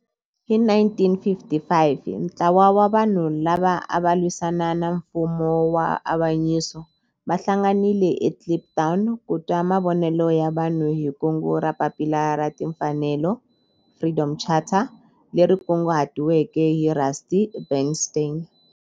Hi 1955 ntlawa wa vanhu lava ava lwisana na nfumo wa avanyiso va hlanganile eKliptown ku twa mavonelo ya vanhu hi kungu ra Papila ra Timfanelo, Freedom Charter, leri kunguhatiweke hi Rusty Bernstein.